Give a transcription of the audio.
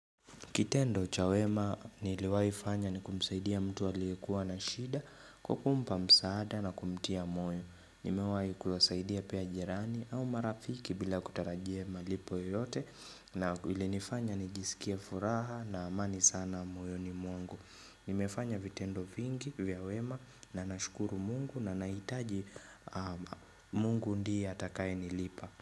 Kitendo cha wema niliwai fanya ni kumsaidia mtu aliyekuwa na shida kwa kumpa msaada na kumtia moyo. Nimewahi kuwasaidia pia jirani au marafiki bila kutarajia malipo yote na ilinifanya nijisikie furaha na amani sana moyo ni mwangu. Nimefanya vitendo vingi vya wema na nashukuru mungu na nahitaji mungu ndiye atakaye nilipa.